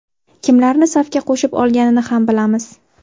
Kimlarni safga qo‘shib olganini ham bilamiz.